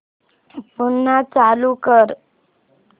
पुन्हा चालू कर